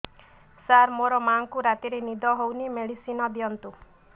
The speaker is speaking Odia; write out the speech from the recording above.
ସାର ମୋର ମାଆଙ୍କୁ ରାତିରେ ନିଦ ହଉନି ମେଡିସିନ ଦିଅନ୍ତୁ